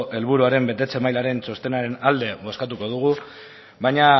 helburuaren betetze mailaren txostenaren alde bozkatuko dugu baina